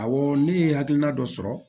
Awɔ ne ye hakilina dɔ sɔrɔ